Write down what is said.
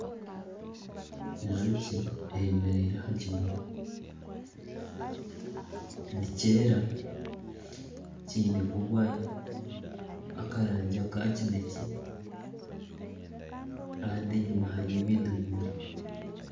Enjoki eyemereire aha'kimuri nikyera kinemu obwa yero nakarangi aka kinekye kandi enyuma hariyo ebindi bimuri .